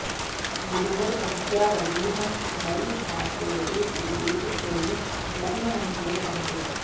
गुरुवर प्रज्ञारविः मयि भासयते गुरुदेव त्वयि लग्न मनसैव रमते